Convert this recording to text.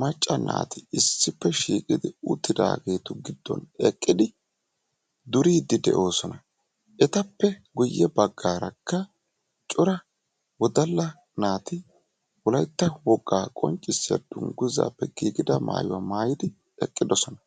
macca naati issippe shiiqodi uttidaagetu giddon eqqidi duridi de'oosona. Etappe guyye baggaaraka cora ŵodalla naati wolaytta woga qonccissiya dungguzappe giigida maaytuwa maatyidi eqqidoosona.